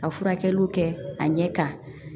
Ka furakɛliw kɛ a ɲɛ kan